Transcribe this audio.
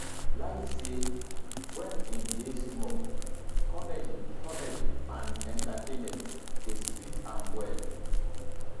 layi say wen im dey small comedy comedy and entertainment dey sweet am well